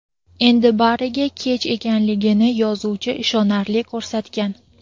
endi bariga kech ekanligini yozuvchi ishonarli ko‘rsatgan.